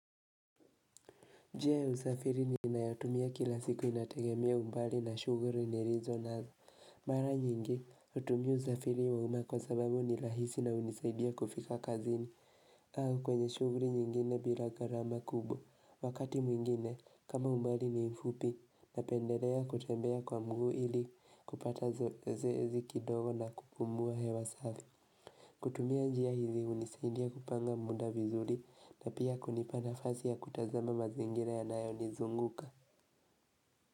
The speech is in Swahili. Njia ya usafiri ni inayatumia kila siku inategemia umbali na shuguri nirizo nazo Mara nyingi utumia uzafiri wa uma kwa sababu ni lahisi na unisaidia kufika kazini au kwenye shuguri nyingine bila garama kubwa Wakati mwingine kama umbali ni mfupi Napendelea kutembea kwa mguu ili kupata zoezi kidogo na kupumua hewa safi kutumia njia hizi unisaidia kupanga muda vizuri na pia kunipana fasi ya kutazama mazingira ya nayo nizunguka.